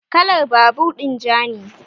Kalan babur din ja ne